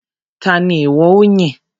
Ta ni ìwọ ó yìn?